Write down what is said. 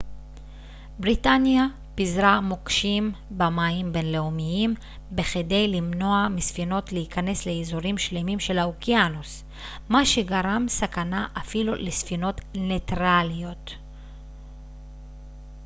בריטניה פיזרה מוקשים במים בינלאומיים בכדי למנוע מספינות להיכנס לאיזורים שלמים של האוקיינוס מה שגרם סכנה אפילו לספינות ניטרליות